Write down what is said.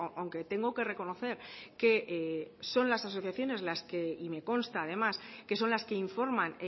aunque tengo que reconocer que son las asociaciones las que y me consta además que son las que informan